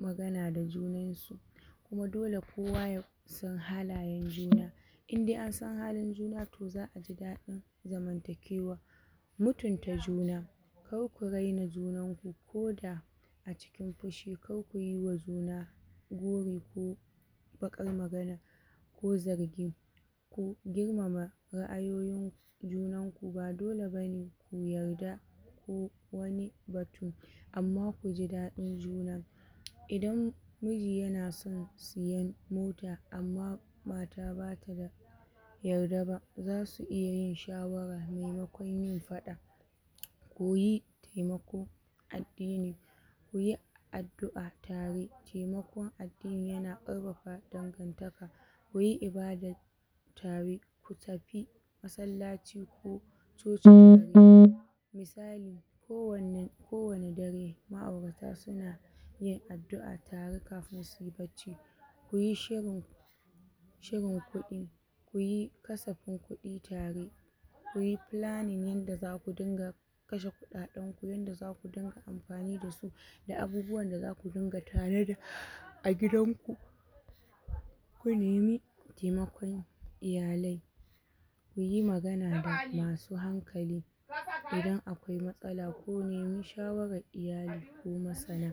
magana da junansu, kuma dole kowa ya san halayen juna, inde an san halin juna to za'a ji daɗin zamantakewa, mutunta juna kar ku raina junanku, koda a cikin fushi kar kuyiwa juna gori ko baƙar magana ko zargi, ku girmama ra'ayoyinku, junanku ba dole bane ku yarda ko wani batu amma kuji daɗin juna, idan miji yana san siyen mota amma mata bata da yarda ba zasu iya yin shawara maimakon yin faɗa, koyi temako addini kuyi addu'a tare, temakon addini yana ƙarfafa dangantaka, kuyi ibadat tare ku tafi masallaci ko coci tare, misali kowane kowane dare ma'aurata suna yin addu'a tare kafi si bacci, kuyi shirin shirin kuɗi, kuyi kasafin kuɗi tare, kuyi planning yanda zaku dinga kashe kuɗaɗenku yanda zaku dinga amfani dasu, da abubuwan da zaku dinga tanada a gidanku, ku nemi temakon iyalai kuyi magana da masu hankali idan akwai matsala ku nemi shawarar iyali ko masana,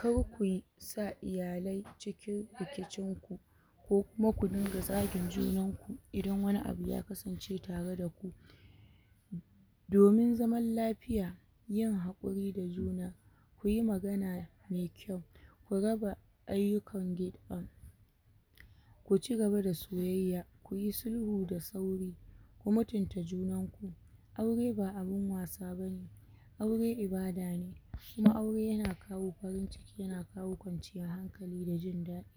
kar kuyi sa iyalai cikin rikincinku ko kuma ku dinga zagin junanku idan wani abu ya kasance tare da ku, domin zaman lafiya, yin haƙuri da juna kuyi magana me kyau, ku raba ayyukan gida, ku cigaba da soyayya, kuyi sulhu da sauri, ku mutinta junanku, aure ba abin wasa bane, aure ibada ne, shi aure yana kawo farin ciki yana kawo kwanciyar hankali da jin daɗi.